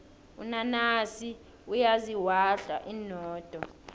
unanasi uyaziwahla inodo